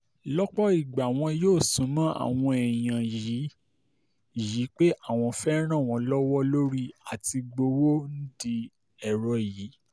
lọ́pọ̀ ìgbà wọn yóò sún mọ́ àwọn èèyàn yìí yìí pé àwọn fẹ́ẹ́ ràn wọ́n lọ́wọ́ lórí àti-gbowó nídìí ẹ̀rọ yìí